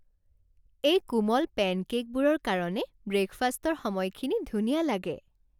এই কোমল পেনকে'কবোৰৰ কাৰণে ব্ৰে'কফাষ্টৰ সময়খিনি ধুনীয়া লাগে।